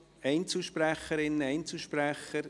Einzelsprecherinnen, Einzelsprecher?